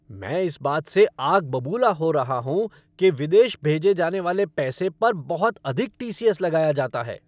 मैं इस बात से आग बबूला हो रहा हूँ कि विदेशी भेजे जाने वाले पैसे पर बहुत अधिक टी. सी. एस. लगाया जाता है।